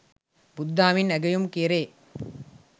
බුදු දහමින් අගැයුම් කෙරේ